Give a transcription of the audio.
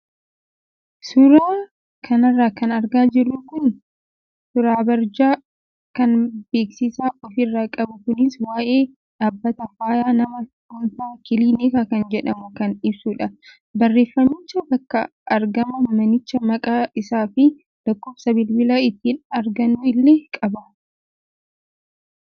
Suuraa kanarra kan argaa jirru kun suuraabarjaa kan beeksisa ofirraa qabu kunis waayee dhaabbata fayyaa nama dhuunfaa kiliinika kan jedhamuu kan ibsudha. Barreeffamichi bakka argama manichaa maqaa isaa fi lakkoofsa bilbilaa ittiin argannu illee qaba.